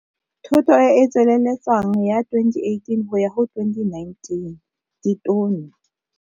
Thoto e e tsweleletswang ya 2018 kgotsa 2019 ditono.